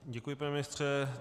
Děkuji, pane ministře.